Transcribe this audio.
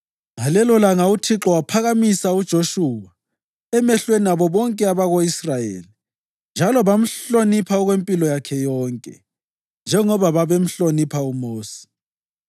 Ngalelolanga uThixo waphakamisa uJoshuwa emehlweni abo bonke abako-Israyeli; njalo bamhlonipha okwempilo yakhe yonke, njengoba babehloniphe uMosi.